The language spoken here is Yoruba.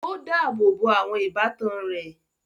Ó dáàbò bo àwọn ìbátan rẹ̀.